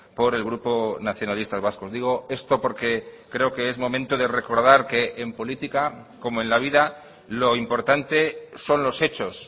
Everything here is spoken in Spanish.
por el grupo nacionalistas vascos digo esto porque creo que es momento de recordar que en política como en la vida lo importante son los hechos